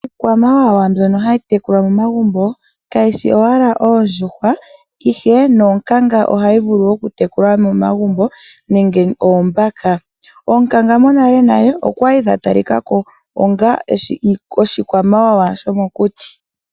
Iikwamawawa mbyono hayi tekulwa momagumbo kayishi owala oondjuhwa, ihe nonkanga ohayi vulu oku tekulwa momagumbo nenge oombaka. Oonkanga monalenale okwali dha talika ko onga oshikwamawawa shomokuti.